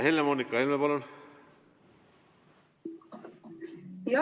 Helle-Moonika Helme, palun!